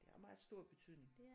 Det har meget stor betydning